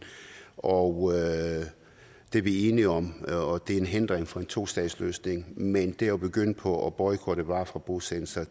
og det er vi enige om og det er en hindring for en tostatsløsning men det at begynde på at boykotte varer fra bosættelser